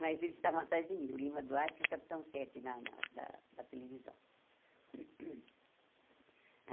Mas eles estavam atrás de mim, o Lima Duarte e o Capitão Sete na na da televisão.